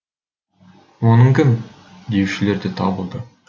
оның кім деушілер де табылды